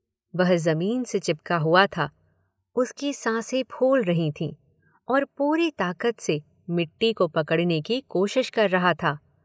वह ज़मीन से चिपका हुआ था, उसकी सांसें फूल रही थीं और पूरी ताकत से मिट्टी को पकड़ने की कोशिश कर रहा था।